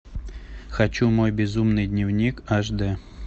хочу мой безумный дневник аш д